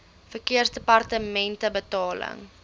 verkeersdepartementebetaling